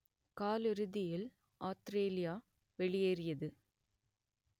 காலிறுதியில் ஆத்திரேலியா வெளியேறியது